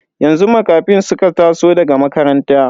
Yanzu Makafin suka taso daga makaranta.